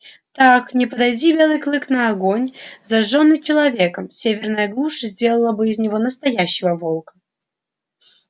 так не подойди белый клык на огонь зажжённый человеком северная глушь сделала бы из него настоящего волка